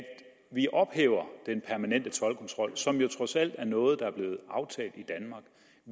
vi ophæver den permanente toldkontrol som jo trods alt er noget der